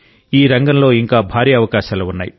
ఈ రంగంలో ఇంకా భారీ అవకాశాలు ఉన్నాయి